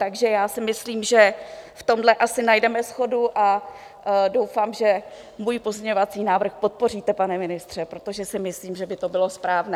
Takže já si myslím, že v tomhle asi najdeme shodu, a doufám, že můj pozměňovací návrh podpoříte, pane ministře, protože si myslím, že by to bylo správné.